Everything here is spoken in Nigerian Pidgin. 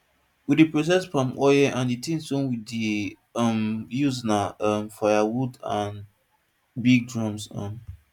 we dey process palm oil and the things wey we dey um use na um firewood and big drums um